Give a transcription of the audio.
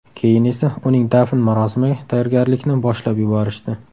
Keyin esa uning dafn marosimiga tayyorgarlikni boshlab yuborishdi.